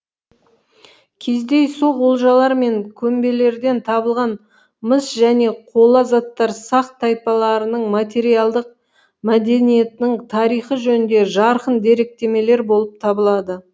кездейсоқ олжалар мен көмбелерден табылған мыс және қола заттар сақ тайпаларының материалдық мәдениетінің тарихы жөнінде жарқын деректемелер болып табылады